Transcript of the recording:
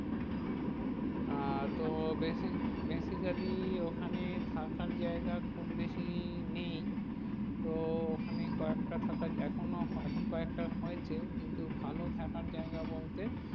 আহ তো basi~ basically ওখানে থাকার জায়গা খুব বেশি নেই। তো ওখানে কয়েকটা থাকার, এখনো, এখন কয়েকটা হয়েছে। কিন্তু ভালো থাকার জায়গা বলতে